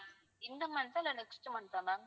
இந்த month ஆ இல்ல next month ஆ ma'am